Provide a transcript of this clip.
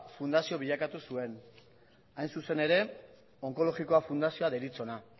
fundazio bilakatu zuen hain zuzen ere onkologikoa fundazioa deritzona